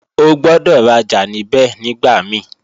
O gbọ́dọ̀ rajà níbẹ̀ nígbà mí